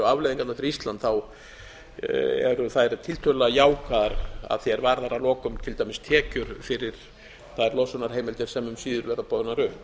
afleiðingarnar fyrir ísland eru þær tiltölulega jákvæðar að því er varðar að lokum til dæmis tekjur fyrir þær losunarheimildir sem um síðir verða boðnar upp